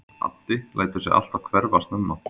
Addi lætur sig alltaf hverfa snemma.